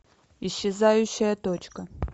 исчезающая точка